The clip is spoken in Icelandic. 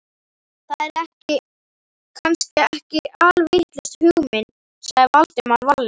Það er kannski ekki alvitlaus hugmynd sagði Valdimar varlega.